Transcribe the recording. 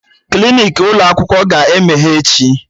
Klinik ụlọ akwụkwọ aga emeghe echi?